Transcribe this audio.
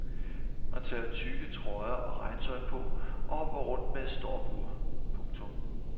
Man tager tykke trøjer og regntøj på og hopper rundt med et stopur. punktum